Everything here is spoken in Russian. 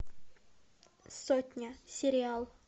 сотня сериал